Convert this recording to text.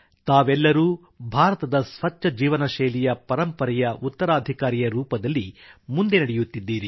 ತಾವೆಲ್ಲರೂ ಭಾರತದ ಸ್ವಚ್ಛಜೀವನ ಶೈಲಿಯ ಪರಂಪರೆಯ ಉತ್ತರಾಧಿಕಾರಿಯರೂಪದಲ್ಲಿ ಮುಂದೆ ನಡೆಯುತ್ತಿದ್ದೀರಿ